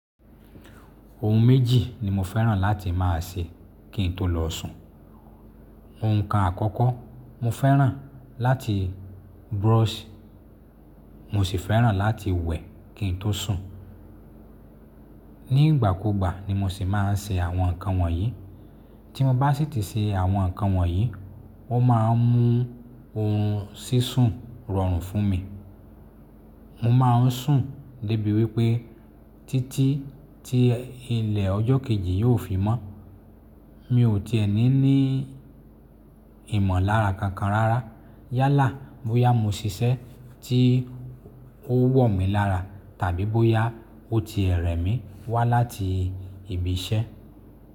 Ohun méjì ni mo fẹ́ràn láti má a ṣe kí n tó lọ sùn. Òuǹkà àkọ́kọ́, mo fẹ́ràn láti brush, mo sì fẹ́ràn láti wẹ̀ kí n tó sùn. Ní ìgbà kú ìgbà ni mo sì má a ń ṣe àwọn nǹkan wọ̀nyí. Tí mo bá sì tìí ṣe àwọn nǹkan wọ̀nyí, wọ́n má a ń mú ohun sísun rọrùn fún mi. Mo má a ń sùn dé bí wípé títí tí ilẹ̀ ọjọ́ kejì yóò fi mọ́. Mi ò ti ẹni ní ìmọ̀lára kankan rárá. Yálà bóyá mo ṣiṣẹ́ tí ó wọ̀ mí lára tàbí bóyá ó tiẹ̀ rẹ̀ mí wá láti ibi iṣẹ́.